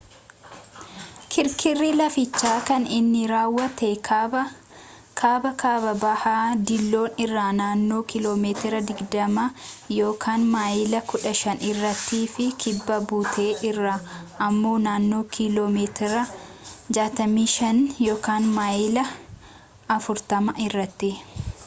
kirkirri lafichaa kan inni raawwate kaaba-kaaba-bahaa diiloon irraa naannoo kiiloomeetira 20 maayilii 15 irrattii fi kibba buttee irraa ammoo naannoo kiiloo meetira 65 maayilii 40 irratti